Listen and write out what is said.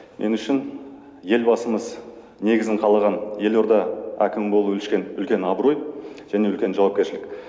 мен үшін елбасымыз негізін қалаған елорда әкімі болу үлкен абырой және үлкен жауапкершілік